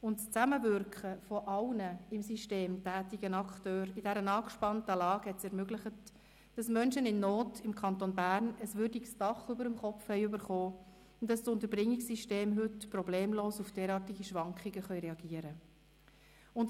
Das Zusammenwirken aller im System tätigen Akteure in dieser angespannten Lage ermöglichte es, dass Menschen in Not im Kanton Bern ein würdiges Dach über dem Kopf erhielten und dass das Unterbringungssystem heute problemlos auf derartige Schwankungen reagieren kann.